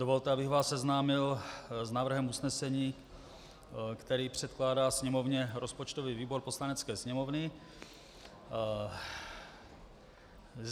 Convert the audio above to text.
Dovolte, abych vás seznámil s návrhem usnesení, který předkládá Sněmovně rozpočtový výbor Poslanecké sněmovny.